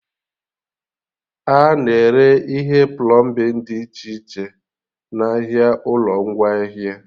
A na-ere ihe plọmbin dị iche iche n'ahịa ụlọ ngwaahịa